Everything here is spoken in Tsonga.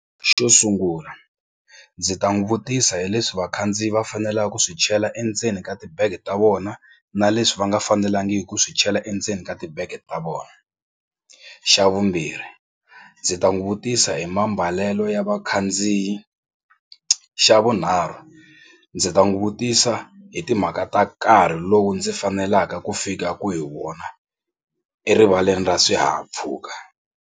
Xo sungula ndzi ta n'wi vutisa hi leswi vakhandziyi va faneleke ku swi chela endzeni ka tibege ta vona na leswi va nga fanelangiku ku swi chela endzeni ka tibege ta vona. Xa vumbirhi ndzi ta n'wi vutisa hi mambalelo ya vakhandziyi. Xa vunharhu ndzi ta n'wi vutisa hi timhaka ta nkarhi lowu ndzi faneleka ku fikaku hi wona erivaleni ra swihahampfhuka.